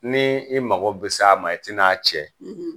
Ni i mago bi s'a ma i ti na cɛ?